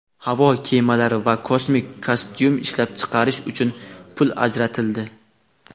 havo kemalari va kosmik kostyum ishlab chiqish uchun pul ajratildi.